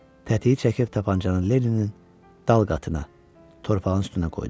Tətiyi çəkib tapançanı Lenninin dal qatına, torpağın üstünə qoydu.